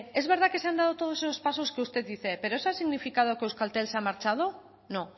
es verdad que se han dado todos esos pasos que usted dice pero eso ha significado que euskaltel se ha marchado no